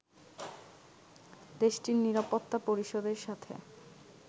দেশটির নিরাপত্তা পরিষদের সাথে